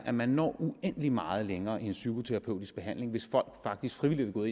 at man når uendelig meget længere med en psykoterapeutisk behandling hvis folk faktisk frivilligt er gået